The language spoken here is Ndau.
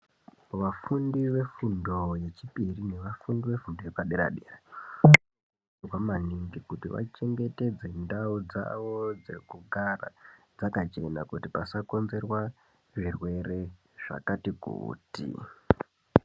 Vafundi vefundo yechipiri nevafundi vefundo yepadera dera vanokurudzirwa maningi kuti vachengetedze ndau dzavo dzekugara dzakachena kuti pasakonzerwa zvirwere zvakati kuti.